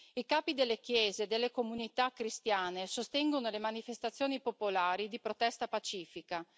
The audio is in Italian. I capi delle chiese e delle comunità cristiane sostengono le manifestazioni popolari di protesta pacifica.